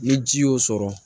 Ni ji y'o sɔrɔ